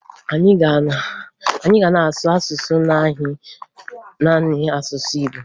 Anyị ga na-asụzị naanị asụsụ Igbo